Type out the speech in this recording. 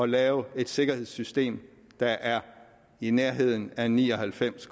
lave et sikkerhedssystem der er i nærheden af ni og halvfems